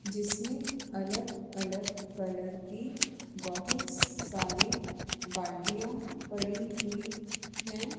जिसमें अलग अलग कलर की बहुत सारी बल्टियां पड़ी हुई हैं।